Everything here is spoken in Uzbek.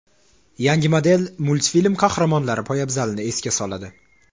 Yangi model multfilm qahramonlari poyabzalini esga soladi.